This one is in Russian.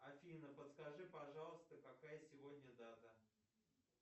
афина подскажи пожалуйста какая сегодня дата